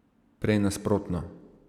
Prej nasprotno.